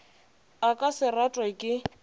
a ka se ratwe ke